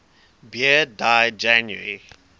beard died january